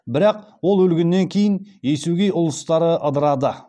бірақ ол өлгеннен кейін есукей ұлысы ыдырады